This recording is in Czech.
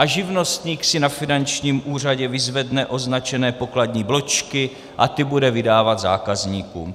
A živnostník si na finančním úřadě vyzvedne označené pokladní bločky a ty bude vydávat zákazníkům.